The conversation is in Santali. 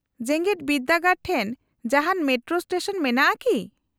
-ᱡᱮᱜᱮᱫ ᱵᱤᱨᱫᱟᱹᱜᱟᱲ ᱴᱷᱮᱱ ᱡᱟᱦᱟᱱ ᱢᱮᱴᱨᱳ ᱥᱴᱮᱥᱚᱱ ᱢᱮᱱᱟᱜᱼᱟ ᱠᱤ ?